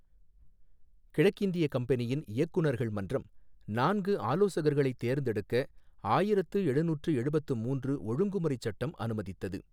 கிழக்கிந்தியக் கம்பெனியின் இயக்குநர்கள் மன்றம் நான்கு ஆலோசகர்களைத் தேர்ந்தெடுக்க ஆயிரத்து எழுநூற்று எழுபத்து மூன்று ஒழுங்குமுறைச் சட்டம் அனுமதித்தது.